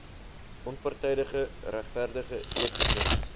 onpartydige regverdige etiese